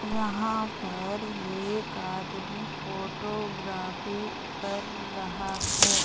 यहाँ पर एक आदमी फोटोग्रॉफी कर रहा है।